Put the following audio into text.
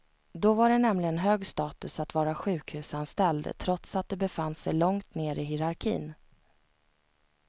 Då var det nämligen hög status att vara sjuhusanställd, trots att de befann sig långt ner i hierarkin.